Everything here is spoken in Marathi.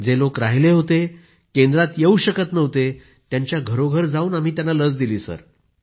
जे लोक राहिले होते केंद्रात येऊ शकत नव्हते त्यांच्या घरोघरी जाऊन दिली सर